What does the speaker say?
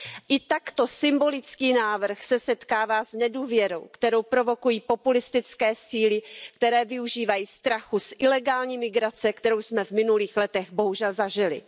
I takto symbolický návrh se setkává s nedůvěrou, kterou provokují populistické síly, které využívají strachu z ilegální migrace, kterou jsme v minulých letech bohužel zažili.